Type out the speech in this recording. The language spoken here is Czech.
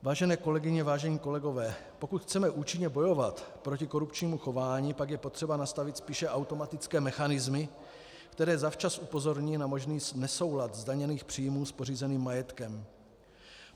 Vážené kolegyně, vážení kolegové, pokud chceme účinně bojovat proti korupčnímu chování, pak je potřeba nastavit spíše automatické mechanismy, které zavčas upozorní na možný nesoulad zdaněných příjmů s pořízeným majetkem.